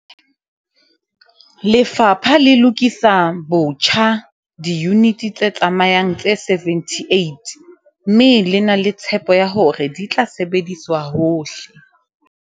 Lefapha le lokisa botjha diyuniti tse tsamayang tse 78 mme le na le tshepo ya hore di tla sebediswa hohle